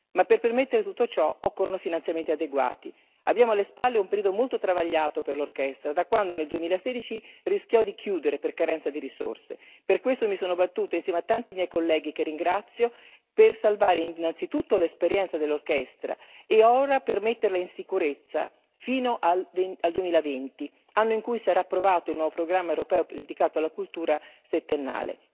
Ma per permettere tutto ciò occorrono finanziamenti adeguati. Abbiamo alle spalle un periodo molto travagliato per l'orchestra da quando, nel 2016, rischiò di chiudere per carenza di risorse. Per questo io mi sono battuta, insieme a tanti miei colleghi, che ringrazio, per salvare innanzitutto l'esperienza dell'orchestra, e ora per metterla in sicurezza fino al 2020, anno in cui sarà approvato il nuovo programma europeo dedicato alla cultura settennale.